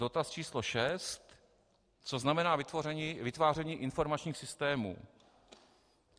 Dotaz číslo šest: Co znamená vytváření informačních systémů?